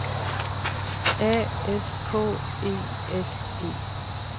A S K E S E